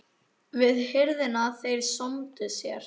Við hirðina þeir sómdu sér.